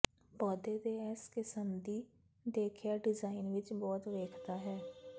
ਪੌਦੇ ਦੇ ਇਸ ਕਿਸਮ ਦੀ ਦੇਖਿਆ ਡਿਜ਼ਾਇਨ ਵਿੱਚ ਬਹੁਤ ਵੇਖਦਾ ਹੈ